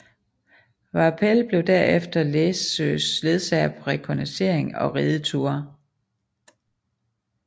Vaupell blev derefter Læssøes ledsager på rekognosceringer og rideture